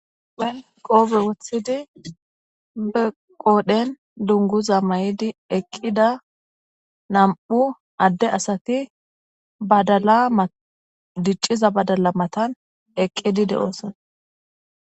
Hayssa ha'i tani misileza bolla xeelishin beetizay aaze gizayssa gidikko na'mu adeti kope wothhtidi badala matani ekidi de'etsi.